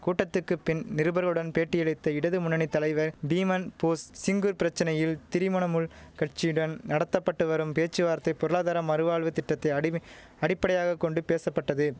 கூட்டத்துக்கு பின் நிருபருடன் பேட்டியளித்த இடது முன்னணி தலைவர் பீமன் போஸ் சிங்குர் பிரச்சனையில் திரிமணமுல் கட்சியுடன் நடத்த பட்டு வரும் பேச்சுவார்த்தை பொருளாதார மறுவாழ்வு திட்டத்தை அடிமை அடிப்படையாக கொண்டு பேசப்பட்டது